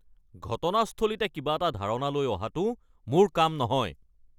ঘটনাস্থলীতে কিবা এটা ধাৰণা লৈ অহাটো মোৰ কাম নহয়।